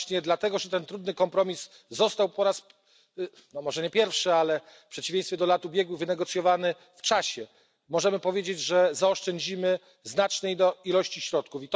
I właśnie dlatego, że ten trudny kompromis został po raz no może nie pierwszy ale w przeciwieństwie do lat ubiegłych wynegocjowany na czas, możemy powiedzieć, że zaoszczędzimy znaczne ilości środków.